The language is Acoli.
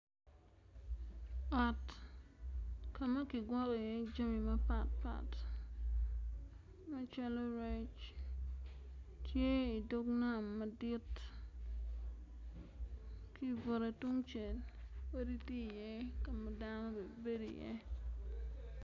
Ot ka ma kigwoko iye jami mapat pat macalo rec tye idog nam madit ki ibute tungcel odi tye iye ka ma dano bene bedo iye.